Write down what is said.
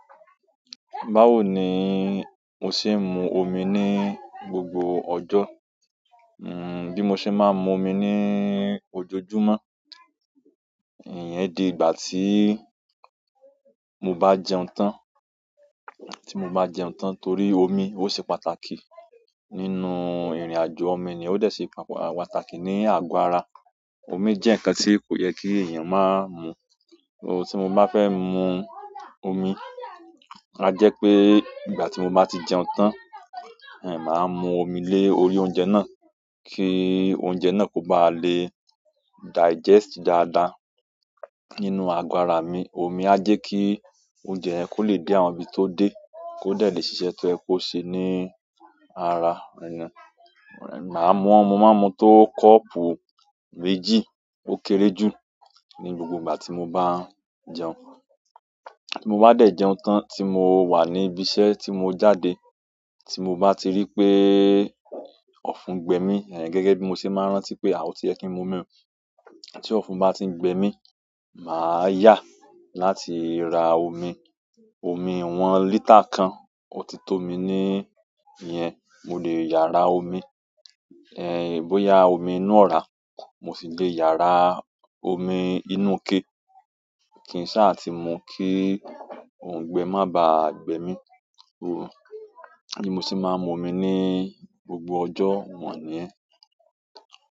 Báwo ni mo ṣe ń mu omi ní gbogbo ọjọ́? Bí mo ṣe máa ń mu omi ní ojoojúmọ́, ìyẹn di ìgbà tí mo bá jẹun tán, tí mo bá jẹun tán torí omi ó ṣe pàtàkì nínú ìrìnàjò. Ọmọ ènìyàn ó dẹ̀ ṣe pàtàkì ní àgọ́ ara. Omi jẹ́ ǹkan tí kò yẹ kí èèyàn máa mu. Ohun tí mo bá fẹ́ mu omi, á jẹ́ pé ìgbà tí mo bá ti jẹun tán, màá mu omi lé orí oúnjẹ náà kí oúnjẹ náà kó ba lè digest dáadáa nínú àgọ́ ara mi. Omi á jẹ́ kí oúnjẹ yẹn kó lè dé àwọn ibi tó dé, kó dẹ̀ lè ṣiṣẹ́ tó yẹ́ kó ṣe ní ara ènìyàn. Màá mu, mo ma n mú tó kọ́ọ̀pù méjì ó kéré jù ní gbogbo ìgbà tí mo bá ń jẹun. Tí mo bá dẹ̀ jẹun tán tí mo wà ní ibi iṣẹ́ tí mo jáde, tí mo bá ti rí pé ọ̀fún gbẹ mí, gẹ́gẹ́ bí mo ṣe máa ń rántí pé a ò ti yẹ kí n mu mímu. Tí ọ̀fún bá ti ń gbẹ mí, màá yá láti ra omi. Omi iwọn litre kan, ó ti tó mi ní ìyẹn, mo lè yà rá omi. Bóyá omi inú ọ̀rá mo si lè yà rá omi inú ike. Kìn sá ti mu kí òùngbẹ má ba gbẹ mí. Bi mo ṣe máa ń mu omi ní gbogbo ọjọ́ wọ̀n nii.